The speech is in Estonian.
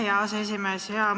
Aitäh, hea aseesimees!